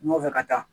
N nɔfɛ ka taa